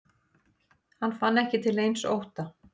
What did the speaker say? Hann fann ekki til neins ótta.